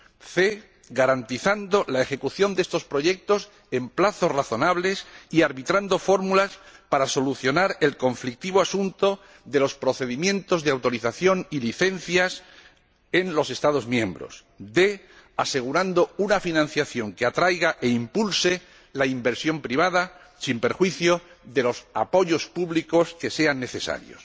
c garantizando la ejecución de estos proyectos en plazos razonables y arbitrando fórmulas para solucionar el conflictivo asunto de los procedimientos de autorización y licencias en los Estados miembros, y d asegurando una financiación que atraiga e impulse la inversión privada, sin perjuicio de los apoyos públicos que sean necesarios.